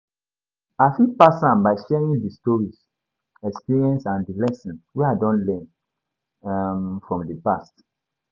I fit pass am by sharing di stories, experiences and di lessons wey i don learn um from di past.